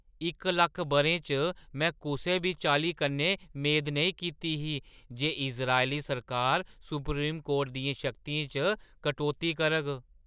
इक लक्ख बʼरें च में कुसै बी चाल्ली कन्नै मेद नेईं कीती ही जे इज़रायली सरकार सुप्रीम कोर्ट दियें शक्तियें च कटौती करग।